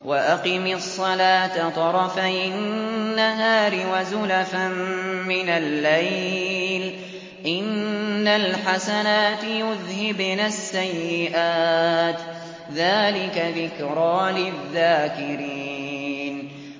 وَأَقِمِ الصَّلَاةَ طَرَفَيِ النَّهَارِ وَزُلَفًا مِّنَ اللَّيْلِ ۚ إِنَّ الْحَسَنَاتِ يُذْهِبْنَ السَّيِّئَاتِ ۚ ذَٰلِكَ ذِكْرَىٰ لِلذَّاكِرِينَ